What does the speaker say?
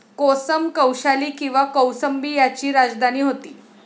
कोसम कौशाली किंवा कौसंबी याची राजधानी होती